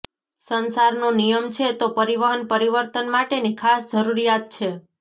સંસારનો નિયમ છે તો પરિવહન પરિવર્તન માટેની ખાસ જરૂરિયાત છે